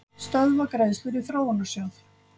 Stöðva greiðslur í Þróunarsjóð